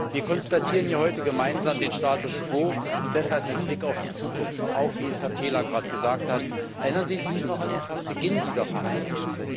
Wir konstatieren hier heute gemeinsam den Status quo und deshalb mit Blick auf die Zukunft auch wie Herr Taylor gerade gesagt hat Erinnern Sie sich noch an den Beginn dieser Verhandlungen?